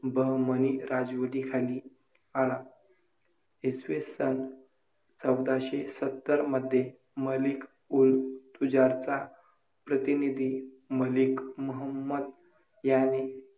अशी चमत्कारिक परिस्थिती देखिल अनेक ठिकाणी आढळून येते.